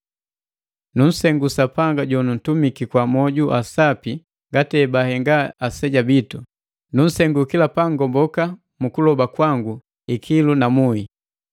Nunsengu Sapanga jonuntumaki kwa moju sapi ngati ebahenga aseja bitu, nunsengu kila pangomboka mu kuloba kwangu ikilu na muhi.